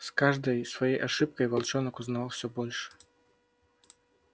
с каждой своей ошибкой волчонок узнавал всё больше